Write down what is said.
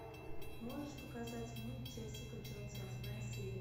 можешь показать мульт джессика джонс восьмая серия